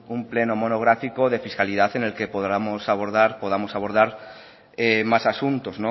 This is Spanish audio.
un pleno monográfico de fiscalidad en el que podamos abordar más asuntos